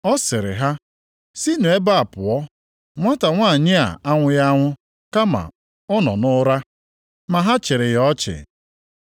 Ọ sịrị ha, “Sinụ ebe a pụọ, nwata nwanyị a anwụghị anwụ, kama ọ nọ nʼụra.” Ma ha chịrị ya ọchị.